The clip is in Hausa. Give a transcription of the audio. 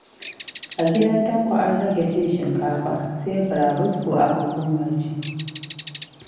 A gidan Tanko an rage cin shinkafa, sai burabusko aka koma ci.